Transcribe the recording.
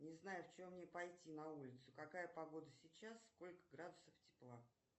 не знаю в чем мне пойти на улицу какая погода сейчас сколько градусов тепла